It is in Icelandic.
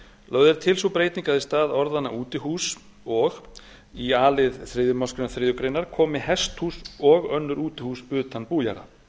lögð er til sú breyting að í stað orðanna útihús og í a lið þriðju málsgrein þriðju grein komi hesthús og önnur útihús utan bújarða